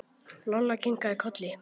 Lolla kinkaði kolli.